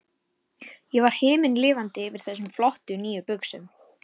Ég var himinlifandi yfir þessum flottu, nýju buxum.